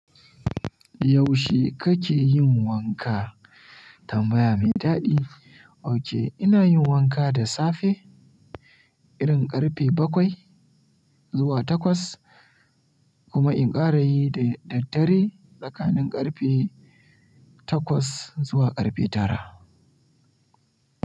Yaushe kake yin wanka? Tambaya mai daɗi. Ok, ina yin wanka da safe, irin ƙarfe bakwai zuwa takwas, kuma in ƙara yi da daddare tsakanin ƙarfe takwas zuwa ƙarfe tara.